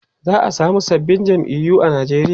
za'a samu sababbin jam'iyu a Nigeria